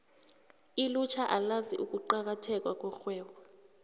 ilutjha alazi ukuqakatheka kwerhwebo